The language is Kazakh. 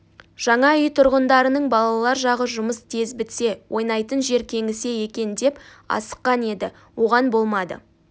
жаңа үй тұрғындарының балалар жағы жұмыс тез бітсе ойнайтын жер кеңісе екен деп асыққан еді оған болмады